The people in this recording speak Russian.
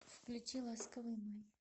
включи ласковый май